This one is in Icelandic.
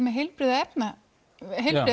með heilbrigð